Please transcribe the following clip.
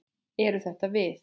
Eru þetta við?